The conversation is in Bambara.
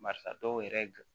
Barisa dɔw yɛrɛ